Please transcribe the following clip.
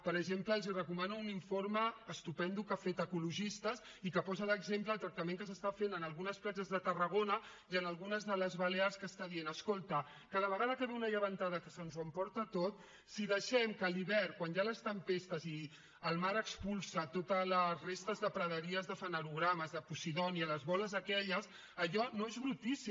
per exemple els recomano un informe estupend que ha fet ecologistes i que posa l’exemple del tractament que s’està fent en algunes platges de tarragona i en algunes de les balears que està dient escolta cada vegada que ve una llevantada que se’ns ho emporta tot si deixem que a l’hivern quan hi ha les tempestes i el mar expulsa totes les restes de praderies de fanerògames de posidònia les boles aquelles allò no és brutícia